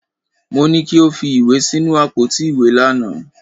Mọ ní kí ó fi ìwé sínú àpótí ìwé lánàá.